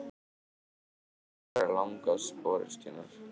Þetta strik verður langás sporöskjunnar.